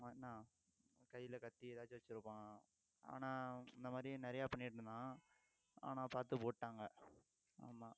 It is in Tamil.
மாட்னா கையில கத்தி ஏதாச்சும் வச்சிருப்பான் ஆனா இந்த மாதிரி நிறைய பண்ணிட்டிருந்தான் ஆனா பார்த்து போட்டுட்டாங்க ஆமாம்